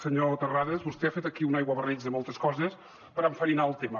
senyor terrades vostè ha fet aquí un aiguabarreig de moltes coses per enfarinar el tema